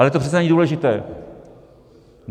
Ale to přece není důležité.